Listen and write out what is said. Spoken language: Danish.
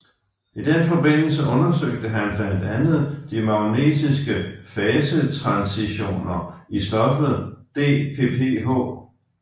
I den forbindelse undersøgte han blandt andet de magnetiske fasetransitioner i stoffet DPPH